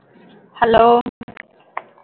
hello